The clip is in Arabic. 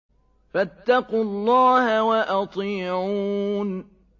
فَاتَّقُوا اللَّهَ وَأَطِيعُونِ